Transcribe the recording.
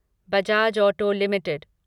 Bajaj auto limited